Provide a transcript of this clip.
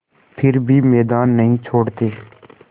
फिर भी मैदान नहीं छोड़ते